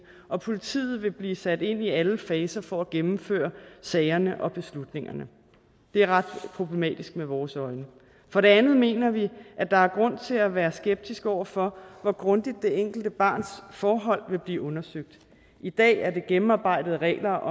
og politiet vil blive sat ind i alle faser for at gennemføre sagerne og beslutningerne det er ret problematisk i vores øjne for det andet mener vi at der er grund til at være skeptisk over for hvor grundigt det enkelte barns forhold vil blive undersøgt i dag er der gennemarbejdede regler